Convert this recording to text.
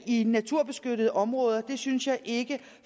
i naturbeskyttede områder det synes jeg ikke